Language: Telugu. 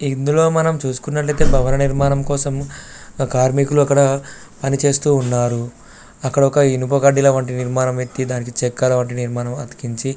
ఇందులో మనం చూసుకున్నట్లైతే భవనం నిర్మాణం కోసం కార్మికులు అక్కడ పని చేస్తూ ఉన్నారు అక్కడ ఒక ఇనుప వంటి నిర్మాణం --.